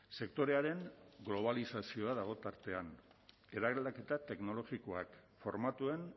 sektorearen globalizazioa dago tartean eraldaketa teknologikoak formatuen